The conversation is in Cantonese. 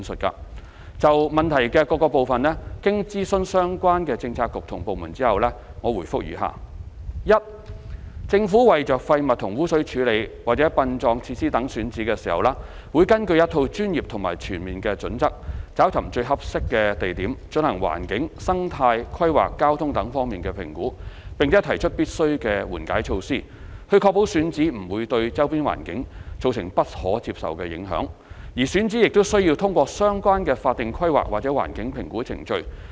就質詢的各個部分，經諮詢相關政策局及部門後，我現答覆如下：一政府為廢物和污水處理或殯葬設施等選址時，會根據一套專業及全面的準則找尋最合適的地點，進行環境、生態、規劃、交通等方面的評估，並提出必須的緩解措施，以確保選址不會對周邊環境造成不可接受的影響，而選址亦須通過相關的法定規劃或環境評估程序。